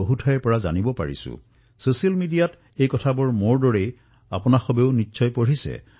মোৰ দৰে আপোনালোকেও ছচিয়েল মিডিয়াত এই খবৰবোৰ পাইছে